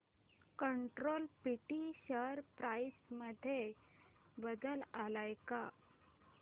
control print share price मध्ये बदल आलाय का